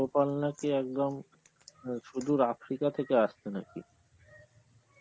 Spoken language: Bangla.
পঙ্গপাল নাকি একদম অ্যাঁ শুধু Africa থেকে আসতো নাকি